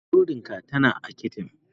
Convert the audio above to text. Burodin ka tana a kicin.